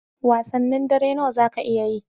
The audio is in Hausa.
Wasannin dare nawa zaka iya yi?